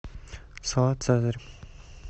салат цезарь